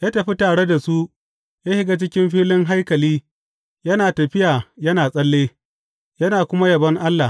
Ya tafi tare da su ya shiga cikin filin haikali yana tafiya yana tsalle, yana kuma yabon Allah.